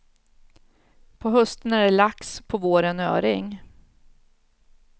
På hösten är det lax, på våren öring.